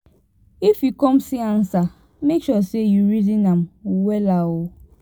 if yu con see ansa mek sure sey you reason am wella o